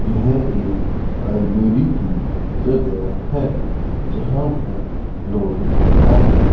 यह एक लाइब्रेरी की जगह है जहां पर लोग आकर --